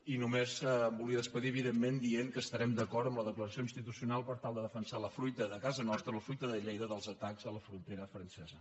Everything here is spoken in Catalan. i només em volia acomiadar evidentment dient que estarem d’acord en la declaració institucional per tal de defensar la fruita de casa nostra la fruita de llei·da dels atacs a la frontera francesa